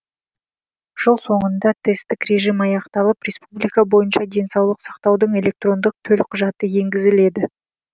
жыл соңында тесттік режим аяқталып республика бойынша денсаулық сақтаудың электронды төлқұжаты енгізіледі